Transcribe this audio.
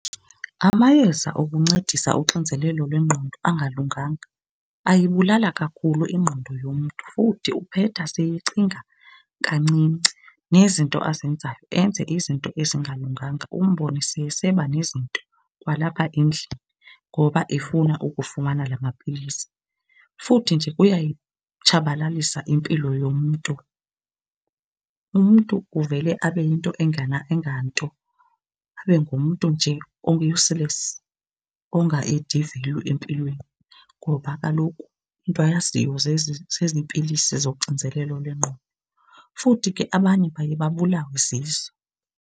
Amayeza okuncedisa uxinzelelo lwengqondo angalunganga ayibulala kakhulu ingqondo yomntu futhi uphetha seyecinga kancinci. Nezinto azenzayo, enze izinto ezingalunganga umbone seyeseba nezinto kwalapha endlini ngoba efuna ukufumana la mapilisi. Futhi nje kuyayitshabalalisa impilo yomntu, umntu uvele abe yinto enganto. Abe ngumntu nje o-useless ongaedi value empilweni ngoba kaloku into ayaziyo zezi pilisi zoxinzelelo lwengqondo, futhi ke abanye baye babulawe zizo.